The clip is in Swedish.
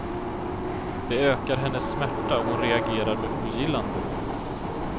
Det ökar hennes smärta och hon reagerar med ogillande.